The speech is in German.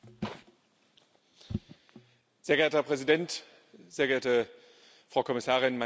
Herr Präsident, sehr geehrte Frau Kommissarin, meine sehr geehrten Damen und Herren Kollegen!